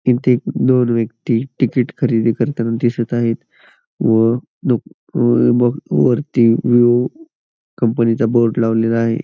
तिथे दोन व्यक्ती तिकीट खरेदी करताना दिसत आहेत व दो वरती कंपनी चा बोर्ड लावलेला आहे.